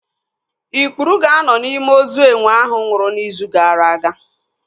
Ikpuru ga-anọ n'ime ozu enwe ahụ nwụrụ n'izu gaara aga.